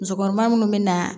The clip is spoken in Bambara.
Musokɔnɔma minnu bɛ na